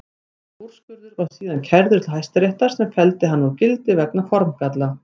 Þessi úrskurður var síðan kærður til Hæstaréttar sem felldi hann úr gildi vegna formgalla.